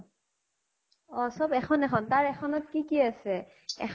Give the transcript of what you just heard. চব এখন এখন, তাৰ এখনত কি কি আছে? এখন